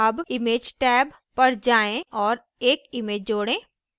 tab image tab tab1 पर जाएँ औऱ एक image जोड़ें